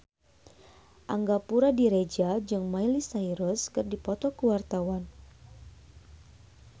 Angga Puradiredja jeung Miley Cyrus keur dipoto ku wartawan